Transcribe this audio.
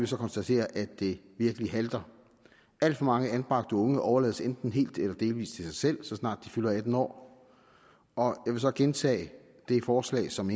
så konstatere at det virkelig halter alt for mange anbragte unge overlades enten helt eller delvis til sig selv så snart de fylder atten år og vil så gentage det forslag som